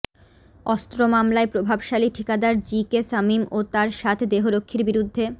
অস্ত্র মামলায় প্রভাবশালী ঠিকাদার জি কে শামীম ও তাঁর সাত দেহরক্ষীর বিরুদ্ধে